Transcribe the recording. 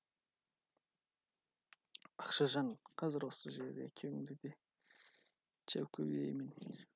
ақшажан қазір осы жерде екеуіңді де жәукелеймін